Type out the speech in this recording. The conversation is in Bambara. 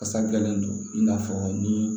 Kasadilen do i n'a fɔ ni